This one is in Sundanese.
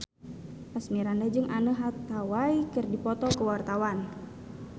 Asmirandah jeung Anne Hathaway keur dipoto ku wartawan